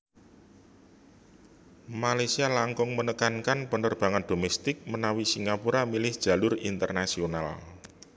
Malaysia langkung menekankan penerbangan domestik menawi Singapura milih jalur internasional